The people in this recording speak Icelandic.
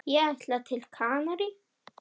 Ég ætla til Kanarí.